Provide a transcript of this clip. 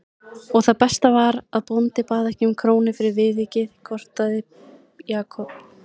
Og það besta var að bóndi bað ekki um krónu fyrir viðvikið gortaði Jakob.